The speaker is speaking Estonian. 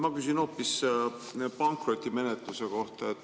Ma küsin hoopis pankrotimenetluse kohta.